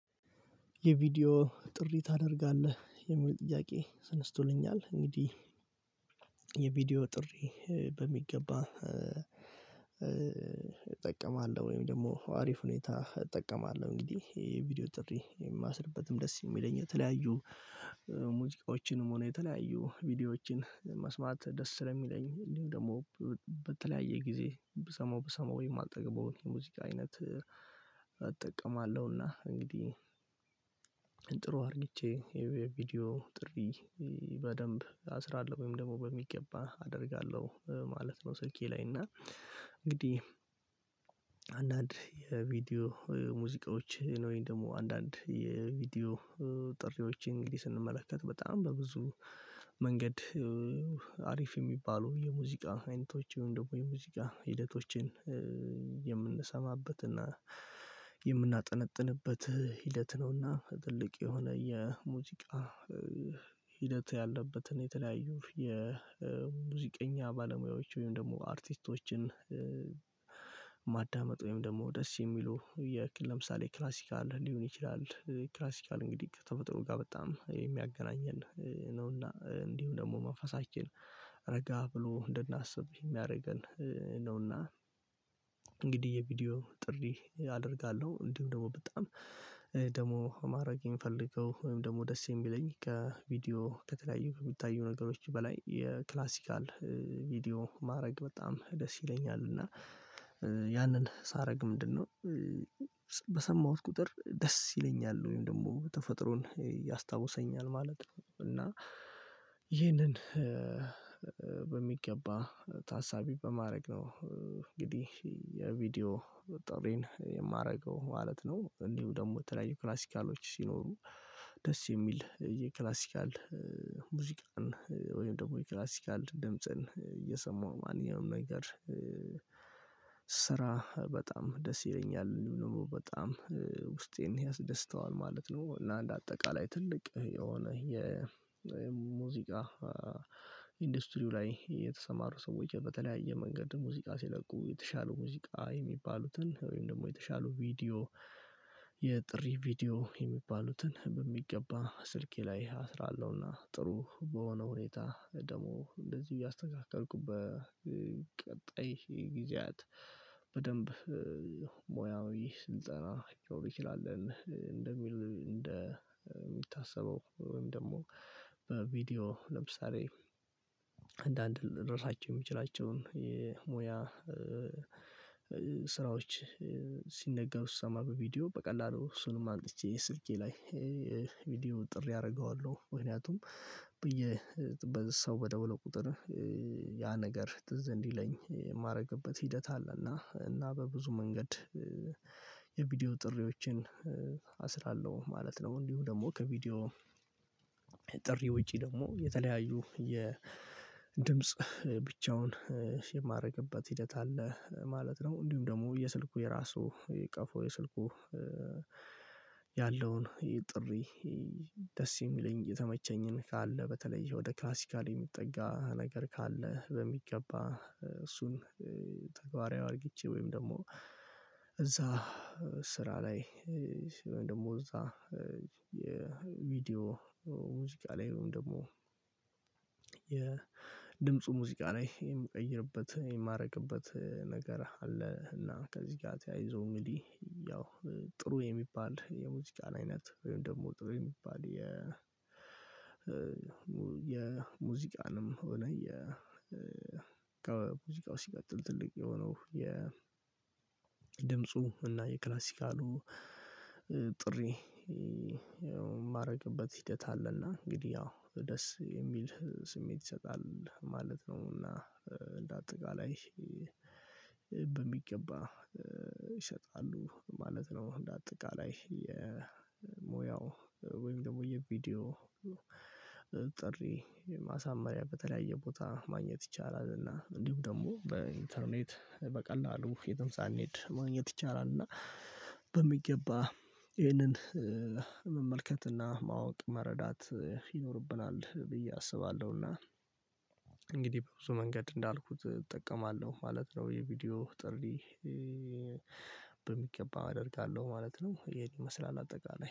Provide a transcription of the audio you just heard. የቪዲዮ ጥሪ ታደርጋለህ? የሚሉ ጥያቄ ተነስቶልኛል እንግዲህ የቪዲዮ ጥሪ በሚገባ እጠቀማለሁ ወይም ደግሞ አሪፍ ሁኔታ እጠቀማለሁ እንግዲህ ይሄ ቪዲዮ ጥሪ የማሥርበትም ደስ የሚለኝ የተለያዩ ሙዚቃዎችንም ሆነ የተለያዩ ቪዲዮዎችን መስማት ደስ ስለሚለኝ እንዲሁ ደግሞ በተለያየ ጊዜ ብሰማው ብሰማው የማልጠግበውን የሙዚቃ አይነት እጠቀማለሁና እንግዲህ አርግቼ የቪዲዮ ጥሪ በደንብ አስራለሁ ወይም ደግሞ በሚገባ አደርጋለሁ ማለት ነው ስልኬ ላይ እና እንግዲህ አንዳንድ የቪዲዮ ሙዚቃዎች ወይም ደግሞ አንዳንድ የቪዲዮ ጥሪዎች እንግዲህ ስንመለከት በጣም በብዙ መንገድ አሪፍ የሚባሉ የሙዚቃ አይነቶች ይሄን ደግሞ የሙዚቃ ሂደቶችን የምንሰማበትና የምናጠነጥንበት ሂደት ነውና ትልቅ የሆነ የሙዚቃ ሂደት ያለበትን የተለያዩ የሙዚቀኛ ባለሙያዎች ወይም ደግሞ አርቲስቶችን ማዳመጥ ወይም ደግሞ ደስ የሚሉ የክልል ለምሳሌ ክላሲካል ሊሆን ይችላል ክላሲካል እንግዲህ ከተፈጥሮ ጋር በጣም የሚያገናኘን ነውና እንዲሁ ደግሞ መንፈሳችን ረጋ ብሎ እንድናስብ የሚያደርገን ነውና እንግዲህ የቪዲዮ ጥሪ አደርጋለሁ እንዲሁ ደግሞ በጣም ደግሞ ማድረግ የምፈልገው ወይም ደግሞ ደስ የሚለኝ ከቪዲዮ ከተለያዩ የሚታዩ ነገሮች በላይ የክላሲካል ቪዲዮ ማድረግ በጣም ደስ ይለኛል እና ያንን ሳረግ ምንድነው በሰማሁት ቁጥር ደስ ይለኛል ወይም ደግሞ ተፈጥሮን ያስታውሰኛል ማለት ነው እና ይህንን በሚገባ ታሳቢ በማድረግ ነው እንግዲህ የቪዲዮ ጥሪን የማደርገው ማለት ነው እንዲሁ ደግሞ የተለያዩ ክላሲካሎች ሲኖሩ ደስ የሚል የክላሲካል ሙዚቃን ወይም ደግሞ የክላሲካል ድምጽን እየሰማሁ ማንኛውም ነገር ስራ በጣም ደስ ይለኛል በጣም ውስጤን ያስደስተዋል ማለት ነው ለአንድ አጠቃላይ ትልቅ የሆነ የሙዚቃ ኢንዱስትሪው ላይ የተሰማሩ ሰዎች በተለያየ መንገድ ሙዚቃ ሲለቁ የተሻሉ ሙዚቃ የሚባሉትን ወይም ደግሞ የተሻለ ቪዲዮ የጥሪ ቪዲዮ የሚባሉትን በሚገባ ስልኬ ላይ አስራለሁና ጥሩ በሆነ ሁኔታ ደግሞ እንደዚህ እያስተካከልኩበት ቀጣይ ጊዜያት በደንብ ሙያዊ ስንጸራ ይችላል እንደሚል እንደሚታሰበው ወይም ደግሞ በቪዲዮ ለምሳሌ አንዳንድ ልንረሳቸው የምንችላቸውን የሙያ ስራዎች ሲነገሩ ስሰማ በቪዲዮ በቀላሉ እሱንም አምጥቼ ስልኬ ላይ ቪዲዮ ጥሪ አደርገዋለሁ ምክንያቱም ብዬ በሰው በደውለው ቁጥር ያ ነገር ትዝ እንዲለኝ የማደርግበት ሂደት አለ እና እና በብዙ መንገድ የቪዲዮ ጥሪዎችን አስራለሁ ማለት ነው እንዲሁ ደግሞ ከቪዲዮ ጥሪ ውጪ የተለያዩ የድምጽ ብቻውን የማደርግበት ሂደት አለ ማለት ነው እንዲሁም ደግሞ የስልኩ የራሱ ቀፎ የስልኩ ያለውን ይሄ ጥሪ ደስ የሚለኝ የተመቸኝን ካለ በተለይ ወደ ክላሲካል የሚጠጋ ነገር ካለ በሚገባ እሱን ተግባራዊ አርግቼ ወይም ደግሞ እዛ ስራ ላይ ወይም ደግሞ እዛ የቪዲዮ ሙዚቃ ላይ ወይም ደግሞ የድምፁ ሙዚቃ ላይ የምቀይርበት የማደርግበት ነገር አለ እና ከዚህ ጋር ተያይዞ ምንድነው ያው ጥሩ የሚባል የሙዚቃን አይነት ወይም ደግሞ ጥሩ የሚባል የ የሙዚቃንም እውነት የ ከሙዚቃው ሲቀጥል ትልቅ የሆነው የ ድምፁ እና የክላሲካሉ ጥሪ የማደርግበት ሂደት አለና እንግዲህ ያው ደስ የሚል ስሜት ይሰጣል ማለት ነው እና እንደ አጠቃላይ በሚገባ ይሸጣሉ ማለት ነው እንደ አጠቃላይ የሙያው ወይም ደግሞ የቪዲዮ ጥሪ ማሳመሪያ በተለያየ ቦታ ማግኘት ይቻላል እና እንዲሁ ደግሞ በኢንተርኔት በቀላሉ የትም ሳንሄድ ማግኘት ይቻላል እና በሚገባ ይህንን መመልከትና ማወቅ መረዳት ይኖርብናል ብዬ አስባለሁ እና እንግዲህ በብዙ መንገድ እንዳልኩት እጠቀማለሁ ማለት ነው የቪዲዮ ጥሪ በሚገባ አደርጋለሁ ማለት ነው ይሄን ይመስላል አጠቃላይ